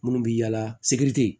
Minnu bɛ yaala sikiri